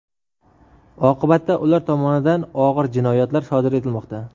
Oqibatda ular tomonidan og‘ir jinoyatlar sodir etilmoqda.